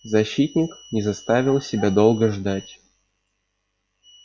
защитник не заставил себя долго ждать